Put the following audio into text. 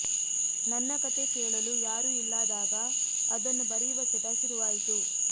ನನ್ನ ಕಥೆ ಕೇಳಲು ಯಾರೂ ಇಲ್ಲದಾಗ ಅದನ್ನು ಬರೆಯುವ ಚಟ ಶುರುವಾಯಿತು